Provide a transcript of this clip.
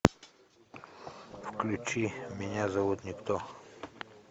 включи меня зовут никто